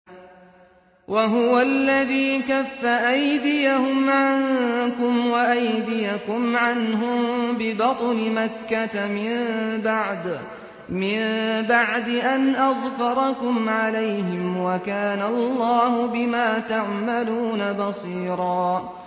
وَهُوَ الَّذِي كَفَّ أَيْدِيَهُمْ عَنكُمْ وَأَيْدِيَكُمْ عَنْهُم بِبَطْنِ مَكَّةَ مِن بَعْدِ أَنْ أَظْفَرَكُمْ عَلَيْهِمْ ۚ وَكَانَ اللَّهُ بِمَا تَعْمَلُونَ بَصِيرًا